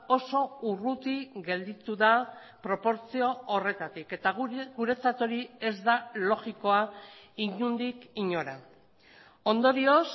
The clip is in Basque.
oso urruti gelditu da proportzio horretatik eta guretzat hori ez da logikoa inondik inora ondorioz